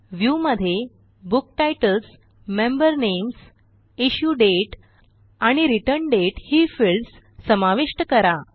Viewमध्ये book titles member names issue dates आणि return dates ही fields समाविष्ट करा